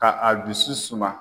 Ka a dusu suma.